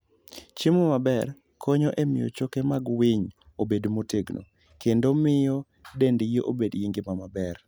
Chiemo maber konyo e miyo choke mag winy obed motegno, kendo miyo dendgi obed gi ngima maber.